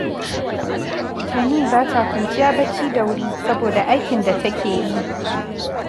Tani ba ta kwanciya bacci da wuri, saboda aikin da take yi